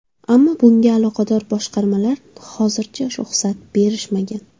Ammo bunga aloqador boshqarmalar hozircha ruxsat berishmagan.